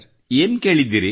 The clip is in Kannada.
ಏನು ಕೇಳಿದ್ದೀರಿ